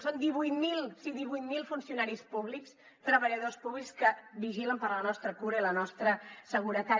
són divuit mil sí divuit mil funcionaris públics treballadors públics que vigilen per la nostra cura i la nostra seguretat